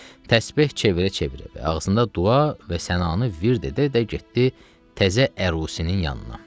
Təsbeh çevirə-çevirə və ağzında dua və sənayı vird edərək getdi təzə ərusinin yanına.